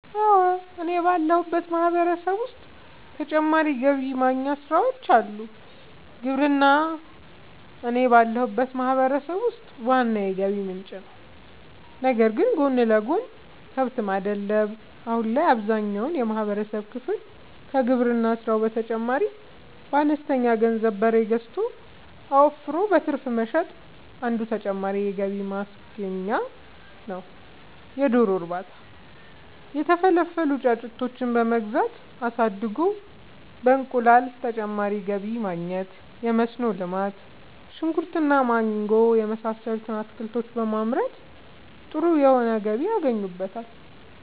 አወ እኔ ባለሁበት ማህበረሰብ ዉስጥ ተጨማሪ ገቢ ማግኛ ስራወች አሉ። ግብርና እኔ ባለሁበት ማህበረሰብ ውስጥ ዋና የገቢ ምንጭ ነዉ ነገር ግን ጎን ለጎን :- ከብት ማድለብ :- አሁን ላይ አብዛኛውን የማህበረሰብ ክፍል ከግብርና ስራው በተጨማሪ በአነስተኛ ገንዘብ በሬ ገዝቶ አወፍሮ በትርፍ መሸጥ አንዱ ተጨማሪ የገቢ ማግኛ ነዉ የዶሮ እርባታ:- የተፈለፈሉ ጫጩቶችን በመግዛት አሳድጎ በእንቁላል ተጨማሪ ገቢ ማግኘት የመስኖ ልማት :-ሽንኩርት እና ማንጎ የመሳሰሉት አትክልቶችን በማምረት ጥሩ የሆነ ገቢ ያገኙበታል